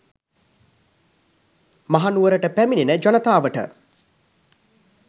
මහනුවරට පැමිණෙන ජනතාවට